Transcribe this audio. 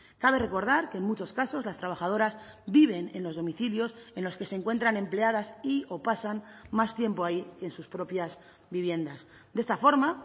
cabe recordar que en muchos casos las trabajadoras viven en los domicilios en los que se encuentran empleadas y o pasan más tiempo ahí que en sus propias viviendas de esta forma